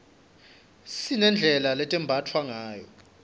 sinedlela letembatfwa ngayo